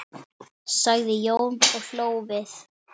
sagði Jón og hló við.